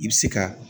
I bɛ se ka